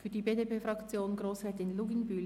Für die BDP-Fraktion Grossrätin Luginbühl-Bachmann.